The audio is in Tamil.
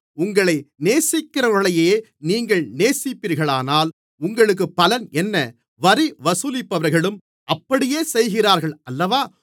உங்களை நேசிக்கிறவர்களையே நீங்கள் நேசிப்பீர்களானால் உங்களுக்குப் பலன் என்ன வரி வசூலிப்பவர்களும் அப்படியே செய்கிறார்கள் அல்லவா